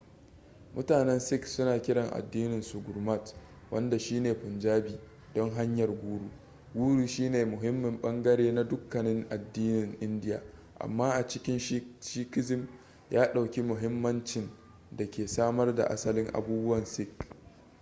mutanen sikh suna kiran addininsu gurmat wanda shine punjabi don hanyar guru guru shine muhimmin bangare na dukkanin addinan indiya amma a cikin sikhism ya ɗauki mahimmancin da ke samar da asalin abubuwan sikh